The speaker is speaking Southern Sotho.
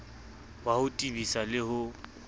wa ho tebisa le ho